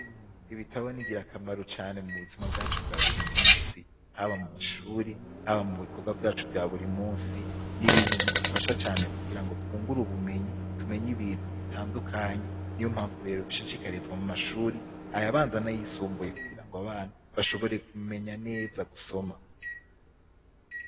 Ibitabo ni ngirakamaro mu buzima bwacu bwa buri munsi haba mu mashuri haba mu bikorwa vyacu vya buri munsi n'ibintu bidufasha cane kugira twungure ubumenyi tumenye ibintu bitandukanye niyo mpamvu rero dushishikarizwa mu mashuri ayabanza nayisimbuye kugirango abana bashobore ku menya neza gusoma.